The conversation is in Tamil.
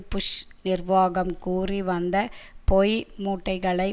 புஷ் நிர்வாகம் கூறி வந்த பொய் மூட்டைகளை